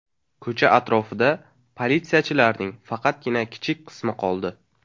Ko‘cha atrofida politsiyachilarning faqatgina kichik qismi qoldi.